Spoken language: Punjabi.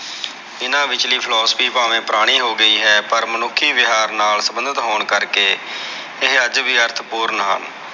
ਏਹਨਾ ਵਿਚਲੀ philosophy ਪਾਵੇ ਪੁਰਾਣੀ ਹੋ ਗਈ ਹੈ ਪਰ ਮਨੁੱਖੀ ਵਿਹਾਰ ਨਾਲ ਸੰਬੰਧਿਤ ਹੋਣ ਕਰਕੇ ਇਹ ਅੱਜ ਵੀ ਅਰਥ ਪੂਰਨ ਹਨ।